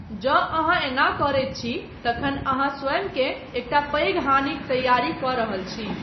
जँ अहाँ एना करैत छी तखन अहाँ स्वयंकेँ एकटा पैघ हानिक तैयारी कऽ रहल छी।